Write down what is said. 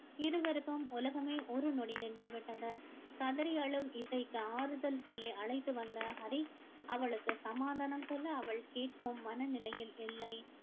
இருவருக்கும் உலகமே ஒரு நொடி நின்று விட்டது கதறி அழும் இசைக்கு ஆறுதல் சொல்லி அழைத்து வந்த ஹரி அவளுக்கு சமாதானம் சொல்ல அவள் கேட்கும் மனநிலையில் இல்லை